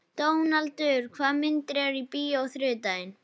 Dónaldur, hvaða myndir eru í bíó á þriðjudaginn?